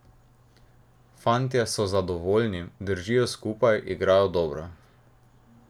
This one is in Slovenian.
Fantje so zadovoljni, držijo skupaj, igrajo dobro.